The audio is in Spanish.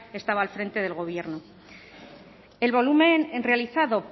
estaba al frente del gobierno el volumen realizado